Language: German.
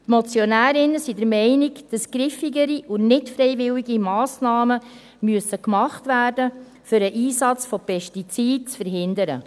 Die Motionärinnen und Motionäre sind der Meinung, dass griffigere und nicht freiwillige Massnahmen getroffen werden müssen, um den Einsatz von Pestiziden zu verhindern.